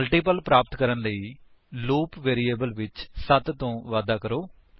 multiple ਪ੍ਰਾਪਤ ਕਰਨ ਲਈ ਲੂਪ ਵੇਰਿਏਬਲ ਵਿੱਚ 7 ਤੋਂ ਵਾਧਾ ਕਰਾਂਗੇ